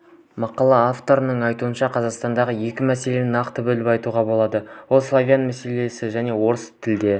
мақала авторының айтуынша қазақстанда екі мәселені нақты бөліп айтуға болады ол славян мәселесі және орыс тілді